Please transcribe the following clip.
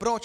Proč?